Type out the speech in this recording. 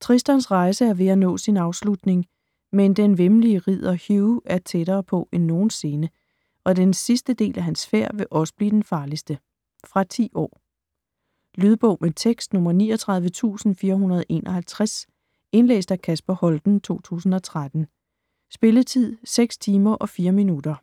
Tristans rejse er ved at nå sin afslutning, men den væmmelige ridder Hugh er tættere på end nogensinde, og den sidste del af hans færd vil også blive den farligste. Fra 10 år. Lydbog med tekst 39451 Indlæst af Kasper Holten, 2013. Spilletid: 6 timer, 4 minutter.